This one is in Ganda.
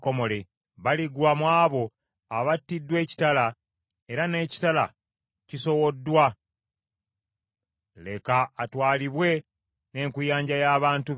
Baligwa mu abo abattiddwa ekitala, era n’ekitala kisowoddwa, leka atwalibwe n’enkuyanja y’abantu be.